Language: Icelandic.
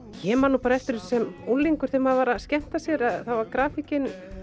ég man nú bara eftir þessu sem unglingur þegar maður var að skemmta sér þá var grafíkin